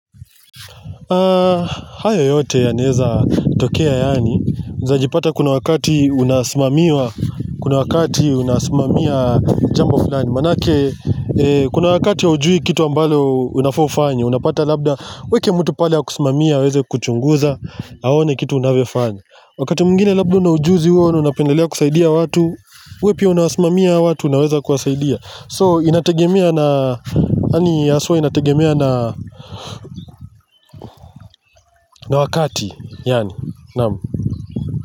Hayo yote yanaeza tokea yaani unaezajipata kuna wakati unasimamiwa Kuna wakati unasimamia jambo fulani maanake kuna wakati haujui kitu ambalo unafaa ufanye Unapata labda uweke mtu pale akusumamie aweze kuchunguza Aone kitu unavyofanya. Wakati mwingine labda una ujuzi huo na unapendelea kusaidia watu we pia unawasimamia hao watu unaweza kuwasaidia So inategemea na wakati yaani naam.